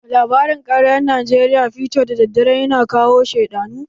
A labarin ƙaryan Najeriya fiito daddare ya na kawo sheɗanu.